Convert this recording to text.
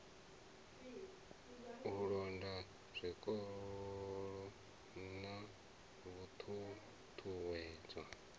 u londa zwikolo na ṱhuṱhuwedzo